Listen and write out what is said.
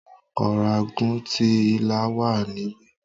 Ọ̀ràngún ti Ìlá wà níbí.